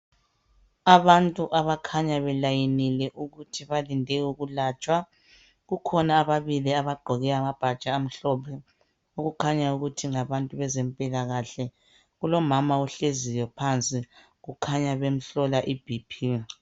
Abantu abakhanya belayinile ukuthi balinde ukulatshwa. Kukhona ababili abagqoke amabhatshi amhlophe, okukhanya ukuthi ngabantu bezempilakahle. Kulomama ohleziyo phansi, kukhanya bemhlola i BP.